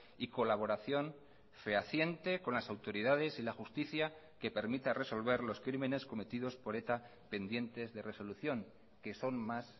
y colaboración fehaciente con las autoridades y la justicia que permita resolver los crímenes cometidos por eta pendientes de resolución que son más